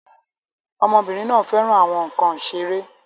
Ọmọbìnrin náà fẹ́ràn àwọn nkan ìṣeré